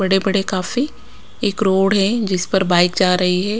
बड़े बड़े काफी एक रोड है जिस पर बाइक जा रही है।